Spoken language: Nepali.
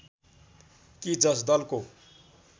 कि जस दलको